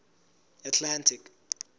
atlantic